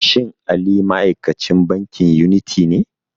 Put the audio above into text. Shin Ali ma'aikacin bankin yuniti ne?